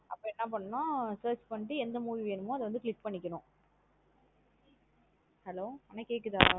அப்போ என்ன பண்ணும்னா search பண்ணிட்டு எந்த movie வேணுமோ அதா வந்து click பண்ணிக்கணும் Hello அண்ணா கேக்குதா.